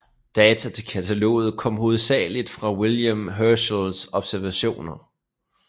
Data til kataloget kom hovedsagelig fra William Herschels observationer